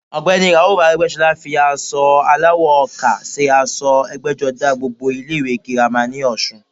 Ọ̀gbẹ́ni i Ràúfù Arẹ́gbẹ́sọlá fi aṣọ aláwọ̀ ọkà se aṣọ ẹgbẹ́jọdá gbogbo ilé ìwé girama ní ọ̀sun